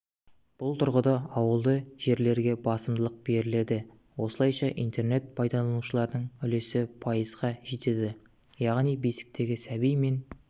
бұл тұрғыда ауылды жерлерге басымдық беріледі осылайша интернет пайдаланушылардың үлесі пайызға жетеді яғни бесіктегі сәби мен